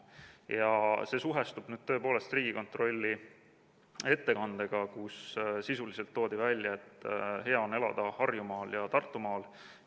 Ja see suhestub tõepoolest Riigikontrolli ettekandega, kus sisuliselt toodi välja, et hea on elada Harjumaal ja Tartumaal.